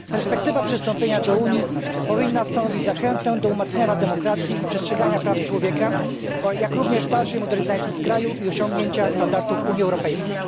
Perspektywa przystąpienia do Unii powinna stanowić zachętę do umacniania demokracji i przestrzegania praw człowieka, jak również dalszej modernizacji kraju i osiągnięcia standardów Unii Europejskiej.